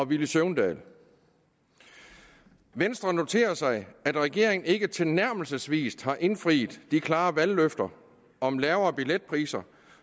villy søvndal venstre noterer sig at regeringen ikke tilnærmelsesvis har indfriet de klare valgløfter om lavere billetpriser